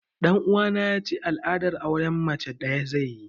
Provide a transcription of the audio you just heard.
Ɗan uwana ya ce al'adar auren mace ɗaya zai yi